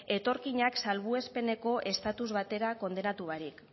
etorkinak salbuespenezko estatus batera kondenatu barik